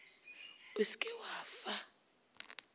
o se ke wa fa